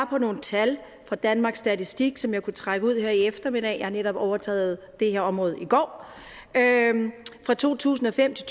på nogle tal fra danmarks statistik som jeg kunne trække ud her i eftermiddag jeg har netop overtaget det her område i går fra to tusind og fem til